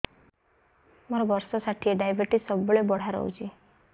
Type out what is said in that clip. ମୋର ବର୍ଷ ଷାଠିଏ ଡାଏବେଟିସ ସବୁବେଳ ବଢ଼ା ରହୁଛି